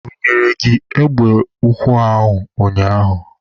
O bunyere gị egbe ukwu ụnyaahụ?